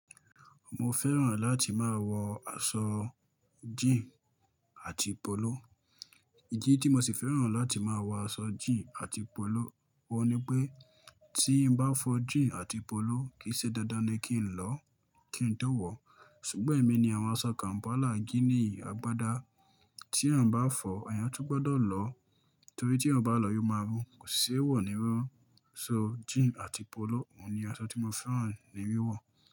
Mo fẹ́ràn láti máa wọ aṣọ jíìnì àti pọlọ. Ìdí tí mo sì fẹ́ràn láti máa wọ aṣọ jíìnì àti pọlọ, ọ̀ ní pé tí n bá fọ jíìnì àti pọlọ kì í ṣe dandan ni kí n lọ kí n tó wọ̀. Ṣùgbọ́n èmi ni àwọn aṣọ kàm̀pálà gínìì, agbádá tí eyan bá fọ̀, eyan tún gbọdọ̀ lọ torí tí eyan o bá lọ ò máa rún kò sì ṣé wọ̀ nírun run Jíìnì àti pọlọ, òun ni aṣọ tí mo fẹ́ràn ní wíwọ̀.